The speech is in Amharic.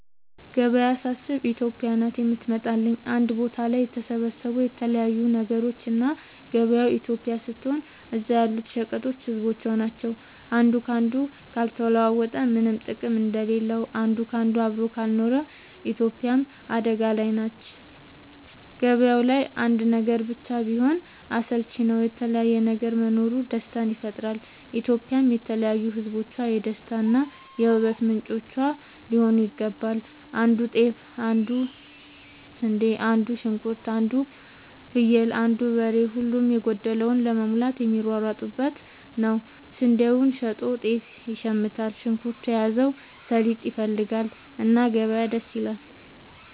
ገበያ ሳስብ እኔ ኢትዮጵያ ናት የምትመጣለኝ አንድ ቦታ ላይ የተሰባሰቡ የተለያዩ ነገሮች እና ገበያው ኢትዮጵያ ስትሆን እዛ ያሉት ሸቀጦች ህዝቦቿ ናቸው። አንዱ ካንዱ ካልተለዋወጠ ምነም ጥቅም እንደሌለው አንድ ካንዱ አብሮ ካልኖረ ኢትዮጵያም አደጋ ላይ ትሆናለች። ገባያው ላይ አንድ ነገር ብቻ ቢሆን አስልቺ ነው የተለያየ ነገር መኖሩ ደስታን ይፈጥራል። ኢትዮጵያም የተለያዩ ህዝቦቿ የደስታ እና የ ውበት ምንጯ ሊሆን ይገባል። አንዱ ጤፍ ይዞ አንዱ ስንዴ አንዱ ሽንኩርት አንዱ ፍየል አንዱ በሬ ሁሉም የጎደለውን ለመሙላት የሚሯሯጡበት ነው። ስንዴውን ሸጦ ጤፍ ይሽምታል። ሽንኩርት የያዘው ሰሊጥ ይፈልጋል። እና ገበያ ደስ ይላል።